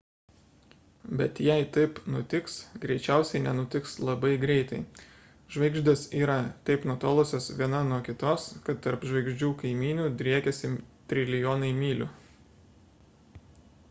bet jei taip nutiks greičiausiai nenutiks labai greitai žvaigždės yra taip nutolusios viena nuo kitos kad tarp žvaigždžių kaimynių driekiasi trilijonai mylių